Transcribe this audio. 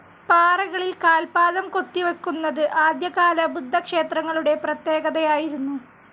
പാറകളിൽ കാൽപാദം കൊത്തി വക്കുന്നത് ആദ്യ കാല ബുദ്ധക്ഷേത്രങ്ങളുടെ പ്രത്യേകതയായിരുന്നു.